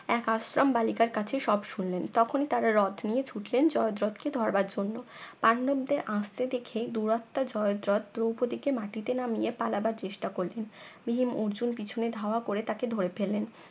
এক আশ্রম বালিকার কাছে সব শুনলেন তখন তারা রথ নিয়ে ছুটলেন জয়দ্রতকে ধরার জন্য পান্ডবদের আসতে দেখে দুরাত্মা জয়দ্রত দ্রৌপদীকে মাটিতে নামিয়ে পালাবার চেষ্টাকরলেন ভীম অর্জুন পিছনে ধাওয়া করে তাকে ধরে ফেললেন